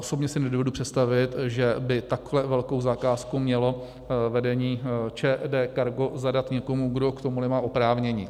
Osobně si nedovedu představit, že by takhle velkou zakázku mělo vedení ČD Cargo zadat někomu, kdo k tomu nemá oprávnění.